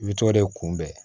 I bɛ t'o de kunbɛn